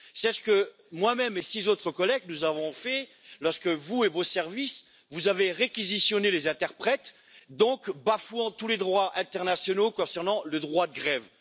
C'est ce que moi même et six autres collègues avons fait lorsque vous et vos services avez réquisitionné les interprètes, bafouant ainsi tous les droits internationaux concernant le droit de grève.